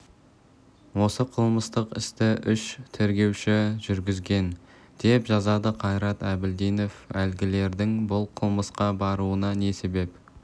осы қылмыстық істі үш тергеуші жүргізген деп жазады қайрат әбілдинов әлгілердің бұл қылмысқа баруына не себеп